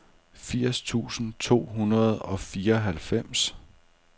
firs tusind to hundrede og fireoghalvfems